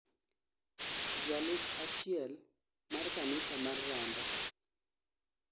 jalup achiel mar kanisa mar ramba